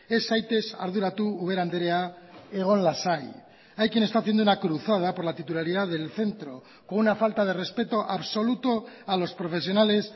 ez zaitez arduratu ubera andrea egon lasai hay quien está haciendo una cruzada por la titularidad del centro con una falta de respeto absoluto a los profesionales